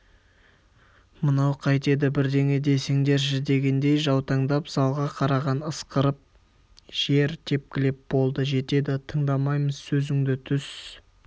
мынау қайтеді бірдеңе десеңдерші дегендей жаутаңдап залға қараған ысқырып жер тепкілеп болды жетеді тыңдамаймыз сөзіңді түс